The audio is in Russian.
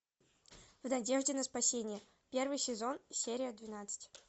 в надежде на спасение первый сезон серия двенадцать